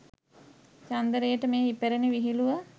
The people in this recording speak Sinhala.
චන්දරේට මේ ඉපැරණි විහිළුව